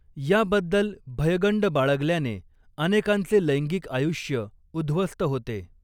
याबद्दल भयगंड बाळगल्याने अनेकांचे लैंगिक आयुष्य उद्ध्वस्त होते.